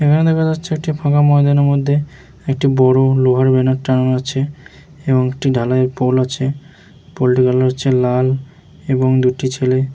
এখানে দেখা যাচ্ছে একটি ফাঁকা ময়দানের মধ্যে একটি বড় লোহার ব্যানার টাঙানো আছে এবং একটি ঢালাই-এর পোল আছে পোল টির কালার হচ্ছে লাল এবং দু একটি ছেলে --